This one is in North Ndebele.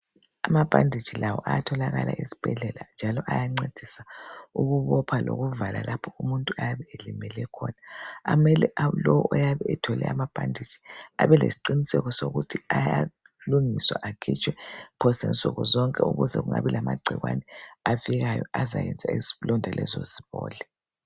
Amabhanditshi la ayatholakala esibhedlela njalo ayancedisa ukubopha lokuvala lapho umuntu ayabe elimele khona. Amele lowo oyabe ethole amabhanditshi abe lesiqiniseko sokuthi ayalungiswa akhitshwe phose nsuku zonke ukuze kungabi lamagcikwane afikayo azayenza izilonda lezo zibole.